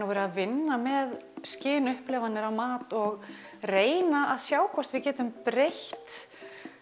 að vinna með á mat og reyna að sjá hvort við getum breytt